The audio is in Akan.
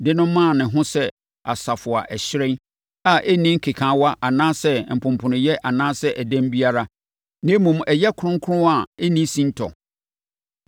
de maa ne ho sɛ asafo a ɛhyerɛn, a ɛnni nkekaawa anaasɛ mponponoyɛ anaasɛ ɛdɛm biara, na mmom ɛyɛ kronkron a ɛnni sintɔ.